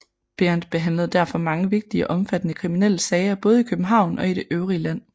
Behrend behandlede derfor mange vigtige og omfattende kriminelle sager både i København og i det øvrige land